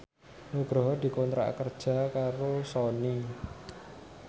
Nugroho dikontrak kerja karo Sony